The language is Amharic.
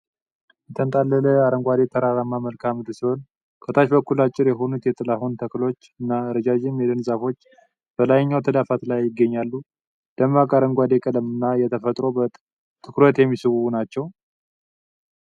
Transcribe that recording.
የተንጣለለ አረንጓዴ ተራራማ መልክዓ ምድር ሲሆን፣ ከታች በኩል አጭር የሆኑ የጥላሁን ተክሎች (Giant Lobelia) እና ረዣዥም የደን ዛፎች በላይኛው ተዳፋት ላይ ይገኛሉ። ደማቅ አረንጓዴ ቀለም እና የተፈጥሮ ውበት ትኩረት የሚስቡ ናቸው።